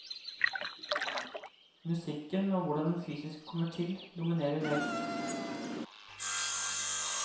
Musikken og hvordan den fysisk kommer til, dominerer helt.